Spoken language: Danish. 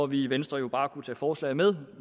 vi i venstre jo bare kunne tage forslaget med